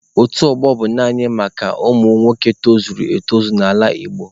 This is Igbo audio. Otu ọgbọ bụ naanị maka ụmụ nwoke tozuru etozu n'ala Igbo.